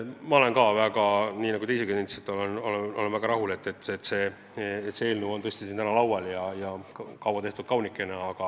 Ma olen väga rahul, nagu teiegi nentisite, et see eelnõu, kaua tehtud ja kaunikene, on siin täna laual.